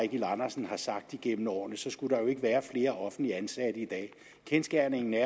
eigil andersen har sagt igennem årene skulle være jo ikke være flere offentligt ansatte i dag kendsgerningen er